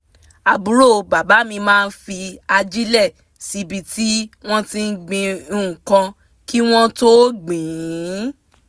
àbúrò bàbá mi máa fi ajílẹ̀ síbi tí wọ́n ti gbin nǹkan kí wọ́n tó gbìn ín